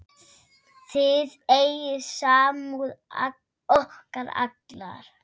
Þið eigið samúð okkar alla.